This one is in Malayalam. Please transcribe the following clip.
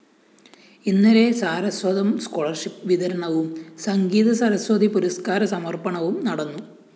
ഇന്നലെ സാരസ്വതം സ്കോളർഷിപ്പ്‌ വിതരണവും സംഗീതസരസ്വതി പുരസ്‌കാര സമര്‍പ്പണവും നടന്നു